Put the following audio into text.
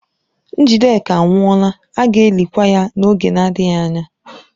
Njideka anwụọla, a ga-elikwa ya n'oge adịghị anya.